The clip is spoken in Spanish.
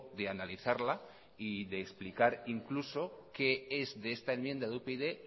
de analizarla y de explicar incluso qué es de esta enmienda de upyd